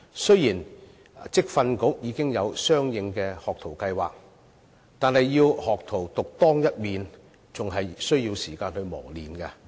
雖然職業訓練局已經有相應的學徒計劃，但要學徒獨當一面，還需要時間磨練。